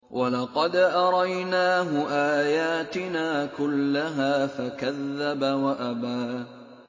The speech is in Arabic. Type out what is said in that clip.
وَلَقَدْ أَرَيْنَاهُ آيَاتِنَا كُلَّهَا فَكَذَّبَ وَأَبَىٰ